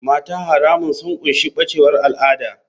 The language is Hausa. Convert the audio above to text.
Mata haramun sun ƙunshi bacewar al'ada.